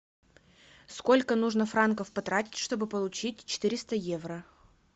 сколько нужно франков потратить чтобы получить четыреста евро